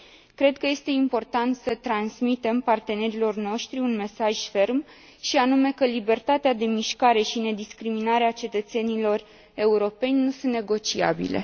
Cred că este important să transmitem partenerilor noștri un mesaj ferm, și anume că libertatea de mișcare și nediscriminarea cetățenilor europeni nu sunt negociabile.